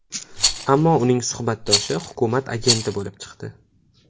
Ammo uning suhbatdoshi hukumat agenti bo‘lib chiqdi.